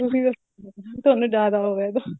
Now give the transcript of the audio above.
ਤੁਸੀਂ ਵੈਸੇ ਤੁਹਾਨੂੰ ਜਿਆਦਾ ਹੋਵੇਗਾ